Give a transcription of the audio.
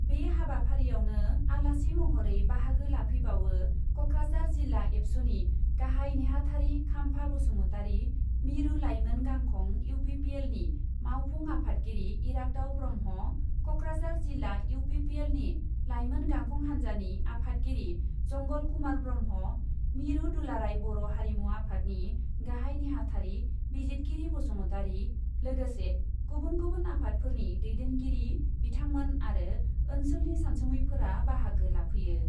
बे हाबाफारियावनो आलासि महरै बाहागो लाफैबावो क'क्राझार जिल्ला एबसुनि गाहाइ नेहाथारि खाम्फा बसुमतारि, मिरु लाइमोन गांखं इउ पि पि एलनि मावफुं आफादगिरि इराग्दाव ब्रह्म, क'क्राझार जिल्ला इउ पि पि एलनि लाइमोन गांखं हान्जानि आफादगिरि जंगल कुमार ब्रह्म, मिरु दुलाराइ बर' हारिमु आफादनि गाहाइ नेहाथारि बिजिदगिरि बसुमतारि, लोगोसे गुबुन गुबुन आफादफोरनि दैदेनगिरि बिथांमोन आरो ओनसोलनि सानसुमैफोरा बाहागो लाफैयो।